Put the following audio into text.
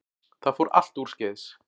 Það fór allt úrskeiðis